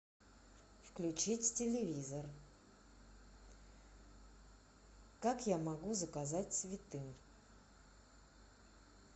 включить телевизор как я могу заказать цветы